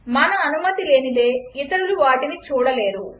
మన అనుమతి లేనిదే ఇతరులు వాటిని చూడలేరు